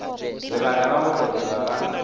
lebaka la go hlokega ga